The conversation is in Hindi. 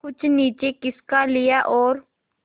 कुछ नीचे खिसका लिया और